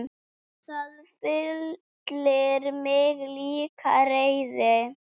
Það fyllir mig líka reiði.